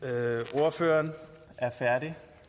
ordføreren er